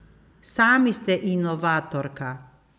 Sami ste inovatorka.